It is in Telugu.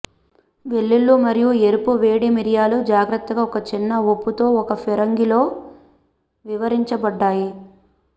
వెల్లుల్లి మరియు ఎరుపు వేడి మిరియాలు జాగ్రత్తగా ఒక చిన్న ఉప్పు తో ఒక ఫిరంగిలో వివరించబడ్డాయి